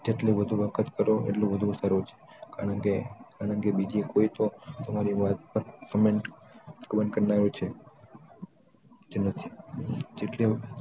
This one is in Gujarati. જેટલું વધુ વખત કરો એટલું વધુ સારું છે કારણ કે એનાથી બીજી કોઈ તો તમારી વાત પર comment કરતાં હોય છે કે નથી